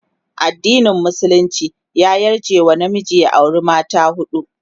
addinin musulunci ya yarje wa namiji ya aure har mata huɗu